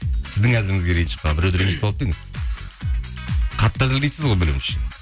сіздің әзіліңізге ренжіп біреуді ренжітіп алып па едіңіз қатты әзілдейсіз ғой білуімше